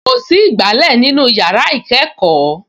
Kò sí ìgbálẹ̀ nínú yàrá ìkẹ́kọ̀ọ́